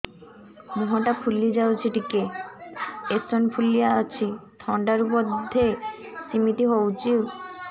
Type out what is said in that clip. ମୁହଁ ଟା ଫୁଲି ଯାଉଛି ଟିକେ ଏଓସିନୋଫିଲିଆ ଅଛି ଥଣ୍ଡା ରୁ ବଧେ ସିମିତି ହଉଚି